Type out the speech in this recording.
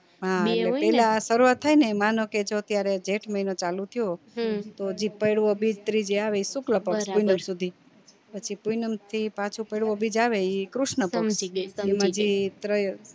હા એટલે પેલા શરૂવાત થાય ને માનો કે જો અત્યારે જેઠ મહિનો ચાલુ થયો તો જી બીજ ત્રીજ જે આવે ઈ શુક્લપક્ષ સુધી પછી પૂનમ થી પાછો બીજ આવે ઈ કૃષ્ણ પક્ષ જી ત્રય